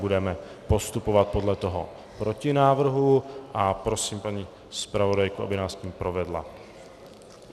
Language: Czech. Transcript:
Budeme postupovat podle toho protinávrhu a prosím paní zpravodajku, aby nás tím provedla.